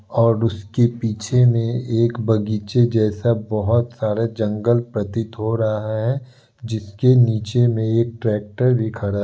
और उसके पीछे में एक बगीचे जैसा बहोत सारे जंगल प्रतीत हो रहा है। जिसके नीचे में एक ट्रेक्टर भी खड़ा--